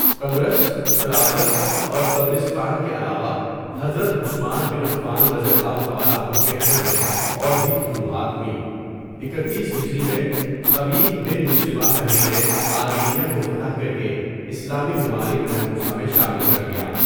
قبرص، طرابلس اور طبرستان کے علاوہ حضرت عثمان بن عفان رضی اللہ تعالیٰ عنہ کے عہد میں اور بھی فتوحات ہوئیں، اکتیس ھ میں خبیب بن مسلمہ فہری نے آرمینیہ کو فتح کرکے اسلامی ممالک محروسہ میں شامل کر لیا.